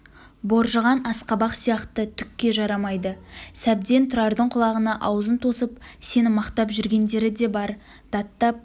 боржыған асқабақ сияқты түкке жарамайды сәбден тұрардың құлағына аузын тосып сені мақтап жүргендері де бар даттап